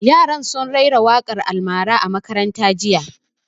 Yaran sun rera waƙan almara a makaranta jiya